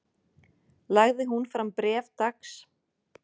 Lagði hún fram bréf dags